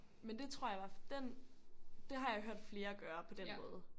Men det tror jeg i hvert fald den det har jeg hørt flere gøre på den måde